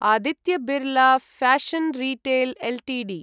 Aditya Birla fashion retail Ltd